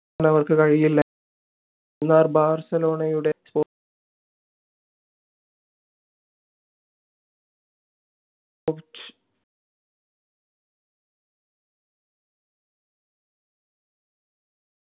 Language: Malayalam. അവർക്ക് കഴിയില്ല എന്നാൽ ബാർസലോണയുടെ